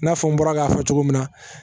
I n'a fɔ n bɔra k'a fɔ cogo min na